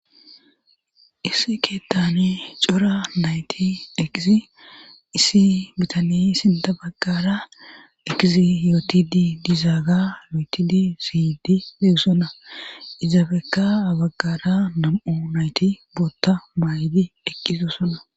issi keettane cora nayti eqizi issi bitani sinta àbaggara eqizi yooti dii diizaaga yootidi siydi deegsona izaabekka baggara nam7u nayti bootta maa7idi ekiso sona